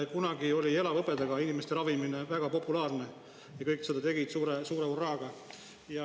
Kunagi oli inimeste elavhõbedaga ravimine väga populaarne ja kõik seda suure hurraaga tegid.